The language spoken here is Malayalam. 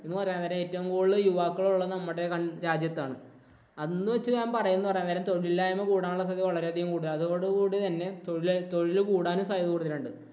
എന്ന് പറയാൻ നേരം ഏറ്റവും കൂടുതൽ യുവാക്കൾ ഉള്ളത് നമ്മുടെ കൺരാജ്യത്താണ്. എന്ന് വച്ച് ഞാന്‍ പറയാൻ നേരം തൊഴിലില്ലായ്മ കൂടാനുള്ള സ്ഥിതി വളരെ അധികം കൂടുതലാണ്. അതുകൊണ്ട് തന്നെ തൊഴില് കൂടാനും സാധ്യത കൂടുതലുണ്ട്.